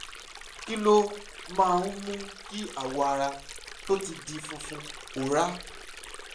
kí ló máa ń mú kí awọ ara tó ti di funfun pòórá?